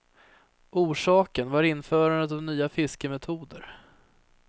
Orsaken var införandet av nya fiskemetoder.